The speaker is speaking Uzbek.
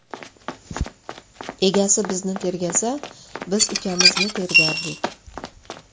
Egasi bizni tergasa, biz ukamizni tergardik.